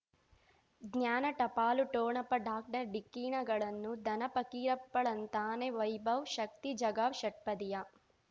ಜ್ಞಾನ ಟಪಾಲು ಠೊಣಪ ಡಾಕ್ಟರ್ ಢಿಕ್ಕಿ ಣಗಳನು ಧನ ಫಕೀರಪ್ಪ ಳಂತಾನೆ ವೈಭವ್ ಶಕ್ತಿ ಝಗಾ ಷಟ್ಪದಿಯ